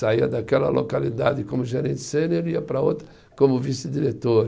Saía daquela localidade como gerente sênior e ia para outra como vice-diretor.